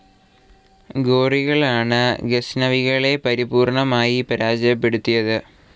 ഗോറികളാണ് ഗസ്നവികളെ പരിപൂർണമായി പരാജയപ്പെടുത്തിയത്.